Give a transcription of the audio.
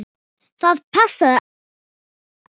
Það passaði allt á mig.